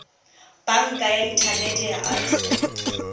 banka ya inthanete ya absa